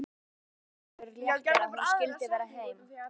Það var ósegjanlegur léttir að hún skyldi vera heima.